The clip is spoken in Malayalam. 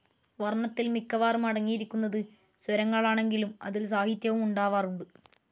വർണ്ണത്തിൽ മിക്കവാറും അടങ്ങിയിരിക്കുന്നത് സ്വരങ്ങളാണെങ്കിലും, അതിൽ, സാഹിത്യവും ഉണ്ടാവാറുണ്ട്.